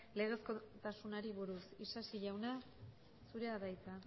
legezkotasunari buruz isasi jauna zurea da hitza